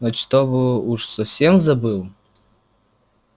но чтобы уж совсем забыл